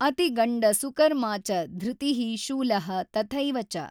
ಅತಿಗಂಡ ಸುಕರ್ಮಾಚ ಧೃತಿಃ ಶೂಲಃ ತಥೈವಚ